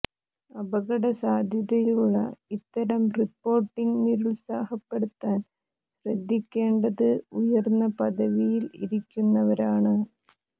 അപകട സാധ്യതയുള്ള ഇത്തരം റിപ്പോർട്ടിംഗ് നിരുത്സാഹപ്പെടുത്താൻ ശ്രദ്ധിക്കേണ്ടത് ഉയർന്ന പദവിയിൽ ഇരിക്കുന്നവരാണ്